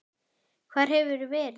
Hvar hefurðu verið?